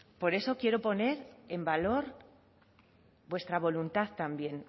por eso quiero poner en valor vuestra voluntad también